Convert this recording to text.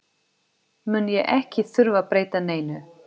mun ég ekki þurfa að breyta neinu.